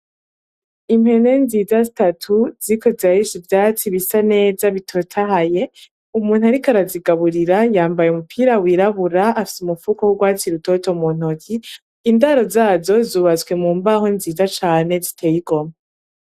Impene nziza zitatu ziriko zirarisha ivyatsi bisa neza bitotahaye, umuntu ariko arazigaburira yambaye umupira w'irabura afise umufuko w'urwatsi rutoto mu ntoki. Indaro zazo zubatswe mu mbaho nziza cane ziteyigomwe.